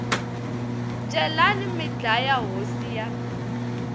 celani mi dlaya hosi ya